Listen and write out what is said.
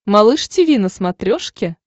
малыш тиви на смотрешке